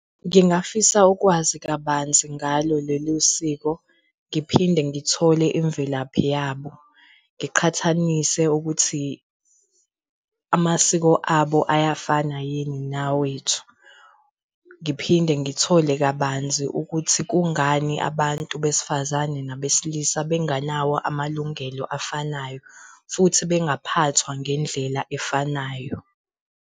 Ngingafisa ukwazi kabanzi ngalo lolu siko. Ngiphinde ngithole imvelaphi yabo, ngiqhathanise ukuthi amasiko abo ayafana yini nawethu Ngiphinde ngithole kabanzi ukuthi kungani abantu besifazane nabesilisa benganawo amalungelo afanayo futhi bengaphathwa ngendlela efanayo.